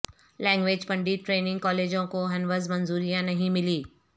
language pandit training کالجوں کو ہنوز منظوریاں نہیں ملی